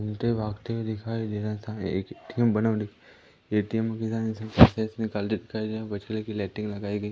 उल्टे भागते हुए दिखाई दे रहा था एक ए_टी_एम बना हुआ ए_टी_एम पैसे निकालते दिखाई दे रहा बछले की लाइटिंग लगाई गई--